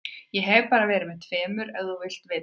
Ég hef bara verið með tveimur ef þú vilt vita það.